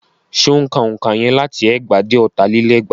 Ṣé ó ń ka òǹkà yẹn láti ẹgbàá dé ọ̀tà lé lẹ́gbàá?